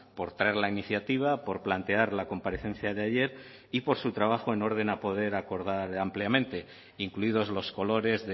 por traer la iniciativa por plantear la comparecencia de ayer y por su trabajo en orden a poder acordar ampliamente incluidos los colores